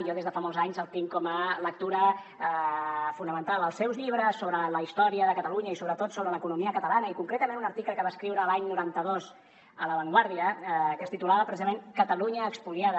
jo des de fa molts anys els tinc com a lectura fonamental els seus llibres sobre la història de catalunya i sobretot sobre l’economia catalana i concretament un article que va escriure l’any noranta dos a la vanguardia que es titulava precisament catalunya espoliada